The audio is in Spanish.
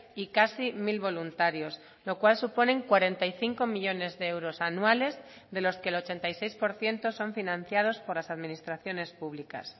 y casi mil voluntarios lo cual suponen cuarenta y cinco millónes de euros anuales de los que el ochenta y seis por ciento son financiados por las administraciones públicas